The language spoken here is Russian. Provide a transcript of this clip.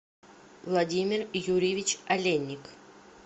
владимир юрьевич олейник